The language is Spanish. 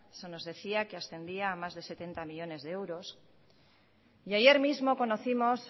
se nos decía que ascendía a más de setenta millónes de euros y ayer mismo conocimos